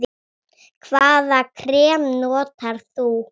Hvaða krem notar þú?